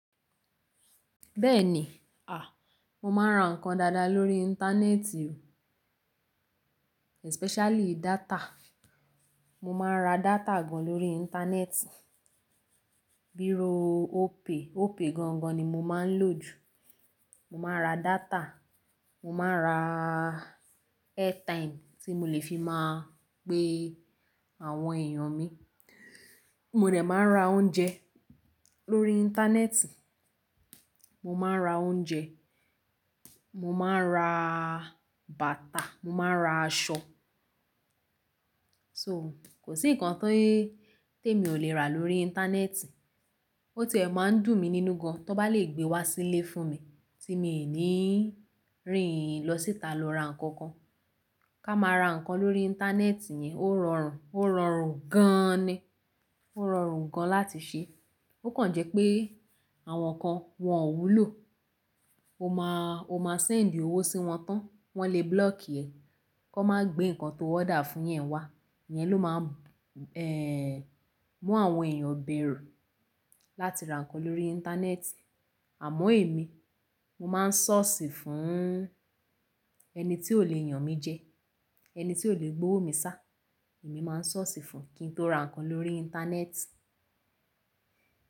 Bẹ́ẹ̀ni, à, mo máa ń ra nǹkan dáadáa lórí Íńtánẹ́ẹ̀tì, especially data. Mo máa ń ra data gan lórí Íńtánẹ́ẹ̀tì, bíi óòpe, óòpe gangan ni mo máa ń lò jù. Mo máa ń ra data, mo máa ra airtime tí mo lè fi máa pe àwọn èèyàn mi. Mo rẹ̀ máa ń ra oúnjẹ lórí Íńtánẹ́ẹ̀tì, mo máa ń ra oúnjẹ, mo máa ń ra bàtà, mo máa ń ra aṣọ. So kò sí nǹkan tó té mi ò lè rà lórí Íńtánẹ́ẹ̀tì. Ó ti è máa ń dùn mí nínú gan, tó bá lè gbé wá sílé fún mi tí mi ní rìn lọ síta lọ ra nǹkan kan. Ká máa ra nǹkan lórí Íńtánẹ́ẹ̀tì yẹn ó rọrùn, ó rọrùn gan ni. Ó rọrùn gan láti ṣe. Ó kan jẹ́ pé àwọn nǹkan wọn ò wúlò. O máa, o máa send owó sí wọn tán, wọ́n lè block ẹ, kọ má gbé nǹkan tó order fún yẹn wá. Yen ló máa ń, eh, mú àwọn èèyàn bẹ̀rù láti ra nǹkan lórí Íńtánẹ́ẹ̀tì. Àmọ́ èmi, mo máa ń sọ̀sì fún ẹni tí ò le yàn mi jẹ, ẹni tí ò lè gbówo mi sá. Èmi máa ń sọ̀sì fún kín tó ra nǹkan lórí Íńtánẹ́ẹ̀tì.